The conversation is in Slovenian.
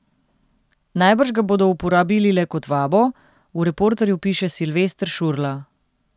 Najbrž ga bodo uporabili le kot vabo, v Reporterju piše Silvester Šurla.